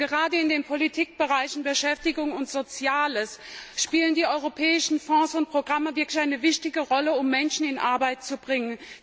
Gerade in den Politikbereichen Beschäftigung und Soziales spielen die europäischen Fonds und Programme wirklich eine wichtige Rolle, um Menschen in Arbeit zu bringen.